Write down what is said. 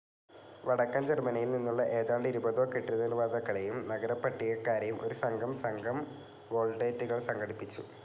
വടക്കൻ ജർമ്മനിയിൽ നിന്നുള്ള ഏതാണ്ട് ഇരുപതോ കെട്ടിടനിർമ്മാതാക്കളെയും നഗരപട്ടികക്കാരെയും ഒരു സംഘം സംഘം വോൾട്ടേറ്റുകൾ സംഘടിപ്പിച്ചു.